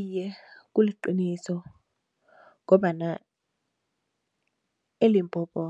Iye, kuliqiniso ngombana eLimpopo